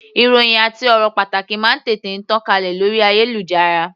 Ìròhìn àti ọ̀rọ̀ pàtàkì máa ń tètè tàn kálẹ̀ lórí ayélujára.